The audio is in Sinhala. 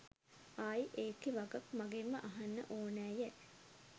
ආයි ඒකෙ වගත් මගෙම්ම අහන්න ඕනැයැ